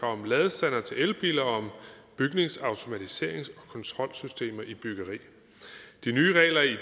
om ladestandere til elbiler og om bygningsautomatiserings og kontrolsystemer i byggeri de nye regler i